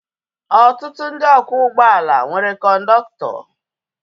Ọtụtụ ndị ọkwọ ụgbọala nwere kọndọktọ